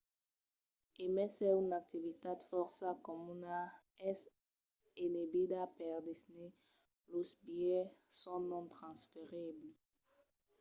e mai s’es una activitat fòrça comuna es enebida per disney: los bilhets son non-transferibles